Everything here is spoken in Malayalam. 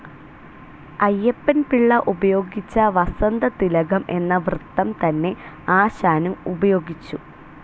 അയ്യപ്പൻ പിള്ള ഉപയോഗിച്ച വസന്തതിലകം എന്ന വൃത്തം തന്നെ ആശാനും ഉപയോഗിച്ചു.